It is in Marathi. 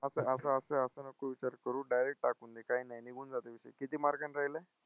असं असं असं असं नको विचार करू direct टाकून दे. काय नाही, निघून जातो विषय, किती मार्काने राहिलाय?